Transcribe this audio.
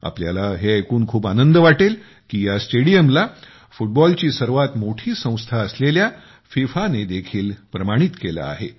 आपल्याला हे ऐकून खूप आनंद वाटेल की या स्टेडियमला फुटबॉलची सर्वात मोठी संस्था असलेल्या फिफा ने देखील प्रमाणित केले आहे